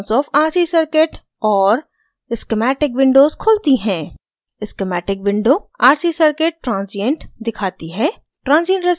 transient response of rc circuit और schematic windows खुलती हैं